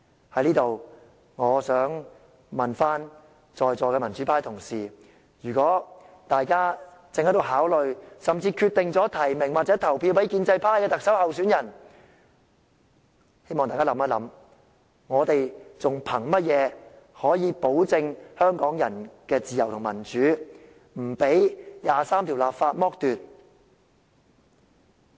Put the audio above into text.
在此，我想問問在座的民主派同事，如果大家正考慮，甚至決定提名或投票給建制派的特首候選人，希望大家思考一下，我們還憑甚麼保證香港人的自由與民主不被第二十三條剝奪？